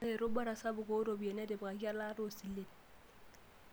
Ore erubata sapuk ooropiyiani netipikaki elaata oosilen.